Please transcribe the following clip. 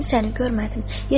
Kimsəni görmədim.